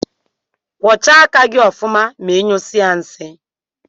Kwọcha aka gi ọfụma ma inyụsie nsi.